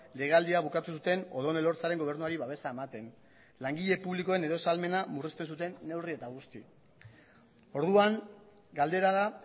legealdia bukatu zuten odón elorzaren gobernuari babesa ematen langile publikoen erosahalmen murrizten zuten neurri eta guzti orduan galdera da